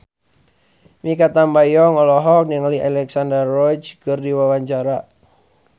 Mikha Tambayong olohok ningali Alexandra Roach keur diwawancara